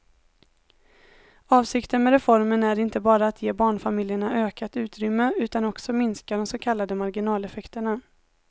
Avsikten med reformen är inte bara att ge barnfamiljerna ökat utrymme utan också minska de så kallade marginaleffekterna.